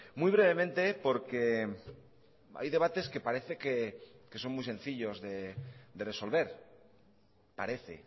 muy brevemente porque hay debates que parece que son muy sencillos de resolver parece